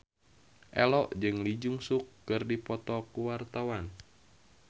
Ello jeung Lee Jeong Suk keur dipoto ku wartawan